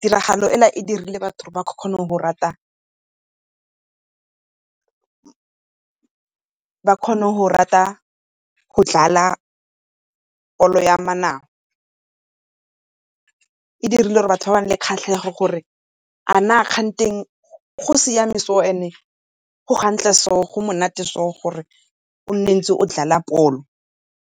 tiragalo e e dirile gore batho ba kgone go rata go dlala bolo ya . E dirile gore batho ba bane le kgatlhego gore a na kganthe go siame so and go gantle so go monate so gore o nne ntse o dlala bolo.